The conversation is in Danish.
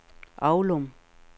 Aulum